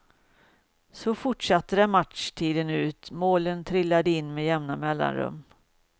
Så fortsatte det matchtiden ut, målen trillade in med jämna mellanrum.